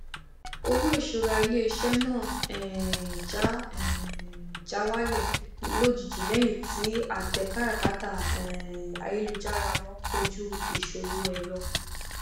owó ìṣúra ilé iṣẹ náà um já um já wálẹ lójijì lẹyìn tí àtẹ káràkátà um ayélujára wọn kojú ìṣòro ẹrọ